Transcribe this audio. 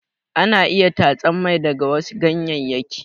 Ana iya tatsan mai daga wasu ganyeyyaki.